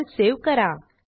file save करा